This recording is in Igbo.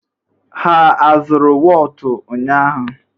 Ha azụrụ wọọtụ ụnyaahụ?